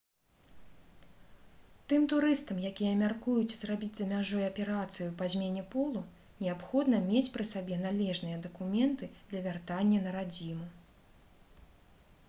тым турыстам якія мяркуюць зрабіць за мяжой аперацыю па змене полу неабходна мець пры сабе належныя дакументы для вяртання на радзіму